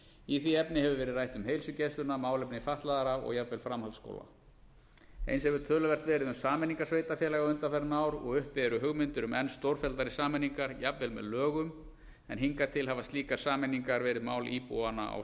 í því efni hefur verið rætt um heilsugæsluna málefni fatlaðra og jafnvel framhaldsskóla eins hefur töluvert verið um sameiningar sveitarfélaga undanfarin ár og uppi eru hugmyndir um enn stórfelldari sameiningar jafnvel með lögum en hingað til hafa slíkar sameiningar verið mál íbúanna á